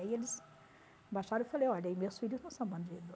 Aí eles baixaram e eu falei, olha, e meus filhos não são bandido.